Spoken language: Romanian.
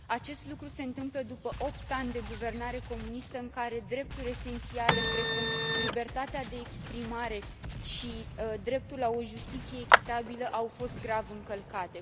Acest lucru se întâmplă după opt ani de guvernare comunistă în care drepturi esențiale precum libertatea de exprimare și dreptul la o justiție echitabilă au fost grav încălcate.